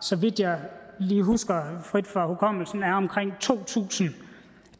så vidt jeg lige husker frit fra hukommelsen er omkring to tusind